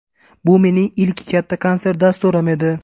Bu mening ilk katta konsert dasturim edi.